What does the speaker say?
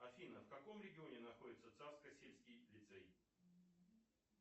афина в каком регионе находится царско сельский лицей